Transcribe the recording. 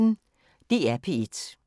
DR P1